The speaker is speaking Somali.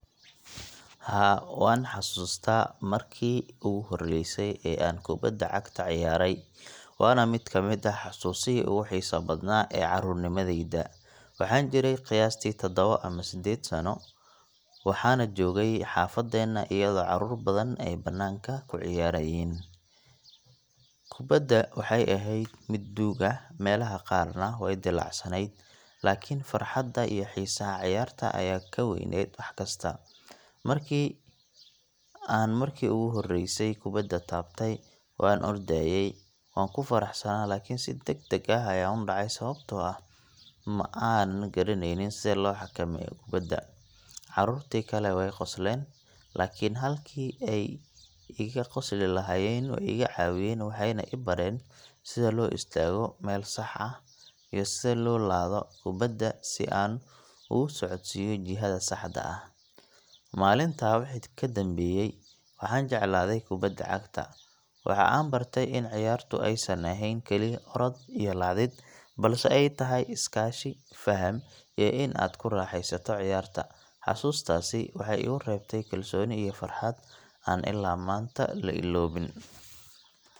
Haa, waan xasuustaa markii ugu horreysay ee aan kubadda cagta ciyaaray waana mid ka mid ah xasuusihii ugu xiisaha badnaa ee carruurnimadayda. Waxaan jiray qiyaastii taddawo ama sedded sano, waxaana joogay xaafaddeena iyadoo carruur badan ay bannaanka ku ciyaarayaan. Kubadda waxay ahayd mid duug ah, meelaha qaarna way dillaacsanayd, laakiin farxadda iyo xiisaha ciyaarta ayaa ka weynayd wax kasta. Markii aan markii ugu horreysay kubadda taabtay, waan ordayay, waan ku faraxsanaa, laakiin si degdeg ah ayaan u dhacay sababtoo ah ma aanan garanaynin sida loo xakameeyo kubadda. Carruurtii kale way qoslayeen, laakiin halkii ay iga qosli lahaayeen, way iga caawiyeen, waxayna i bareen sida loo istaago meel sax ah, iyo sida loo laado kubadda si aan ugu socodsiiyo jihada saxda ah. Maalintaa wixii ka dambeeyay waxaan jeclaaday kubadda cagta. Waxa aan bartay in ciyaartu aysan ahayn kaliya orod iyo laadid, balse ay tahay iskaashi, faham, iyo in aad ku raaxaysato ciyaarta. Xasuustaasi waxay igu reebtay kalsooni iyo farxad aan illaa maanta la illoobin.